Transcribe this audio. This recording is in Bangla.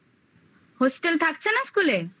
hostel হোস্টেল থাকছে না school এ